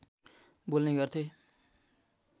बोल्ने गर्थे